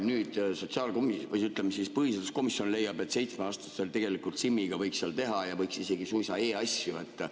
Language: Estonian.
Nüüd põhiseaduskomisjon leiab, et 7‑aastased tegelikult SIM‑iga võiks seda teha ja võiks isegi suisa e-asju teha.